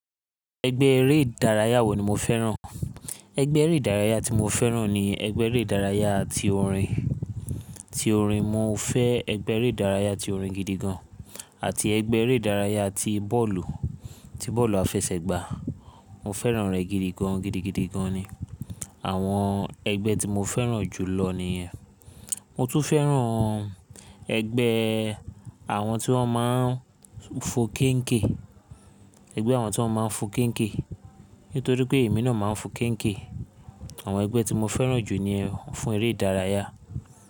Ẹgbẹ́ eré ìdárayá wo ni mo fẹ́ràn? Ẹgbẹ́ eré ìdárayá tí mo fẹ́ràn ni ẹgbẹ́ eré ìdárayá tí orin, tí orin. Mo fẹ́ ẹgbẹ́ eré ìdárayá tí orin gidi gan, àti ẹgbẹ́ eré ìdárayá tí bọ́ọ̀lù, tí bọ́ọ̀lù àfẹsẹ̀gbá. Mo fẹ́ràn rẹ̀ gidi gan, gidigidi gan ni. Àwọn ẹgbẹ́ tí mo fẹ́ràn jù lọ nìyẹn. Mo tún fẹ́ràn ẹgbẹ́ àwọn tí wọ́n máa ń fo kẹ́nkẹ̀, ẹgbẹ́ àwọn tí wọ́n máa ń fo kẹ́nkẹ̀. Nítorí pé èmi náà máa ń fo kẹ́nkẹ̀. Àwọn ẹgbẹ́ tí mo fẹ́ràn jù ni ẹ fún eré ìdárayá.